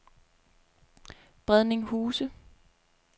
Bredning Huse